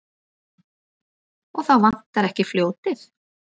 Og þá vantar ekki fljótið.